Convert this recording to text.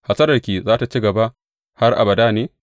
Hasalarka za tă ci gaba har abada ne?’